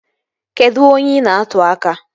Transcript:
Kedụ onye ị na-atụ aka?